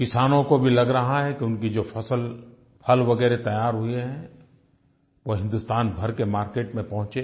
किसानों को भी लग रहा है कि उनकी जो फ़सल फल वगैरह तैयार हुए हैं वो हिन्दुस्तान भर के मार्केट में पहुँचें